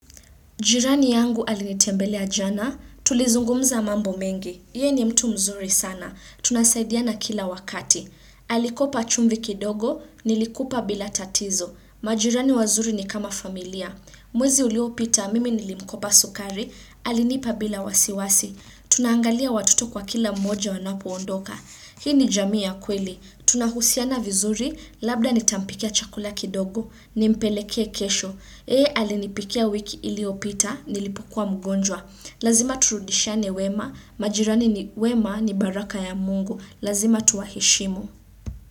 Jirani yangu alinitembele jana, tulizungumza mambo mengi. Yeye ni mtu mzuri sana, tunasaidiana kila wakati. Alikopa chumvi kidogo, nilikupa bila tatizo. Majirani wazuri ni kama familia. Mwezi uliopita mimi nilimkopa sukari, alinipa bila wasiwasi. Tunaangalia watoto kwa kila mmoja wanapoondoka. Hii ni jamii ya kweli. Tunahusiana vizuri, labda nitampikia chakula kidogo, nimpeleke kesho. Yeye alinipikia wiki iliyopita, nilipokua mgonjwa. Lazima turudishiane wema, majirani wema ni baraka ya mungu. Lazima tuwaheshimu.